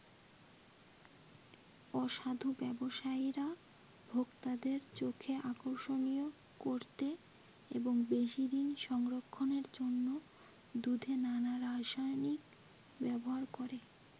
অসাধু ব্যবসায়ীরা ভোক্তাদের চোখে আকর্ষণীয় করতে এবং বেশি দিন সংরক্ষণের জন্য দুধে নানা রাসায়নিক ব্যবহার করে।